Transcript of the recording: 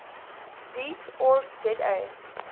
deat org za